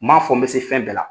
N' ma fɔ n bɛ se fɛn bɛɛ la